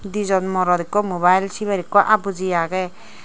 di jon morot ekko mobile siber ekku abuji aage.